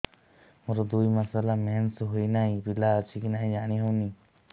ମୋର ଦୁଇ ମାସ ହେଲା ମେନ୍ସେସ ହୋଇ ନାହିଁ ପିଲା ଅଛି କି ନାହିଁ ଜାଣି ହେଉନି